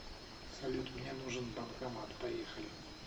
салют мне нужен банкомат поехали